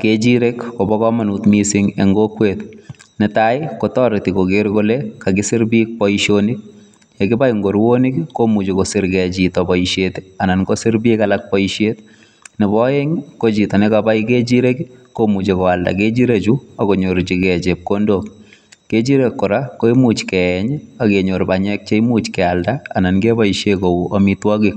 Kechirek kobo komonut mising en kokwet, netai kotoreti koger kole kakisir biik boisionik. Ye kibai komuche kosir ge chito boisiet anan kosir biik alak boisiet. Nebo oeng ko chito nekabai ng'echirek komoche koalda ngechirechu ak konyorjige chepkondok. Kechirek kora koimuch keyeny ak kenyor banyek che imuch kealda anan keboishe koik amitwogik.